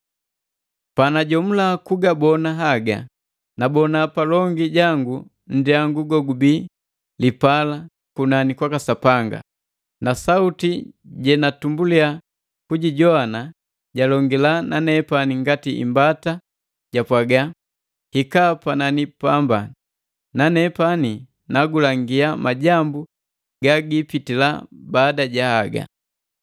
Panajomula kugabona haga, nabona palongi jangu nndyangu gogubi lipala kunani kwaka Sapanga. Na sauti jenatumbuliya kujijowana jalongila na nepani ngati imbata japwaga: “Hika panani pambane, na nepani nagulangia majambu ga giipitila baada ja haga.”